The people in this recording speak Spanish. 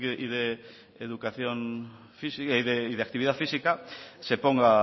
y de actividad física se ponga